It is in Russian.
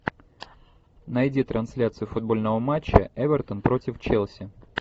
найди трансляцию футбольного матча эвертон против челси